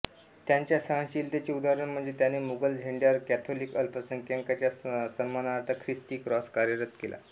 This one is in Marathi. त्याच्या सहनशीलतेचे उदाहरण म्हणजे त्याने मुघल झेंड्यावर कॅथोलिक अल्पसंख्यकांच्या सन्मानार्थ ख्रिस्ती क्रॉस कार्यरत केला